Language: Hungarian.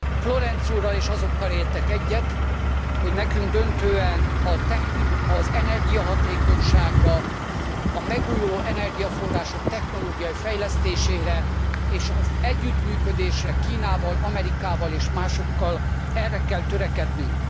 Florenz úrral, és azokkal értek egyet, hogy nekünk döntően az energiahatékonyságra, a megújuló energiaforrások technológiai fejlesztésére és az együttműködésre Kínával, Amerikával és másokkal, erre kell törekednünk.